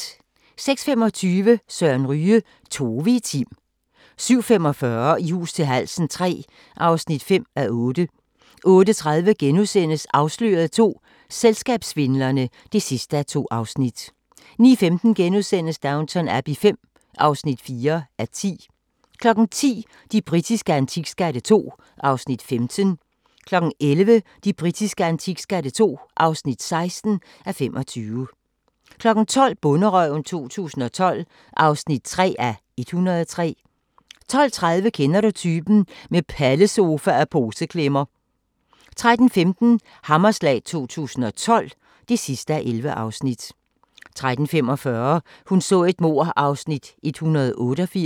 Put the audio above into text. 06:25: Søren Ryge: Tove i Tim 07:45: I hus til halsen III (5:8) 08:30: Afsløret II – Selskabssvindlerne (2:2)* 09:15: Downton Abbey V (4:10)* 10:00: De britiske antikskatte II (15:25) 11:00: De britiske antikskatte II (16:25) 12:00: Bonderøven 2012 (3:103) 12:30: Kender du typen? – Med pallesofa og poseklemmer 13:15: Hammerslag 2012 (11:11) 13:45: Hun så et mord (188:267)